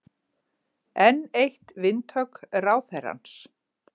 Enn eitt vindhögg ráðherrans